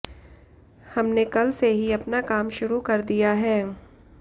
हमने कल से ही अपना काम शुरू कर दिया है